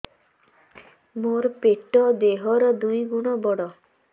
ମୋର ପେଟ ଦେହ ର ଦୁଇ ଗୁଣ ବଡ